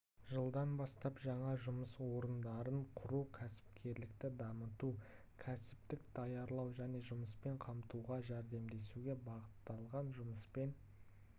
жылдан бастап жаңа жұмыс орындарын құру кәсіпкерлікті дамыту кәсіптік даярлау және жұмыспен қамтуға жәрдемдесуге бағытталған жұмыспен